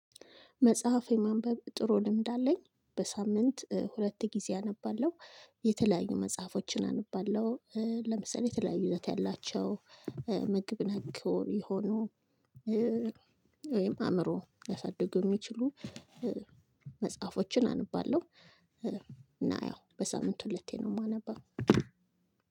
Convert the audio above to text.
መጽሐፍ የማንበብ ጥሩ ልምድ አለኝ በሳምንት ሁለት ጊዜ አነባለሁ። የተለያዩ መጽሐፎችን አንብባለው። ለምሳሌ የተለያይ ይዘት ያላቸው ምግብ ነክ የሆኑ። ወይም አእምሮ ሊያሳድጉ የሚችሉ። መጽሐፎችን አንባለሁ። እና ያው በሳምንት ሁለቴ ነው የማነበው።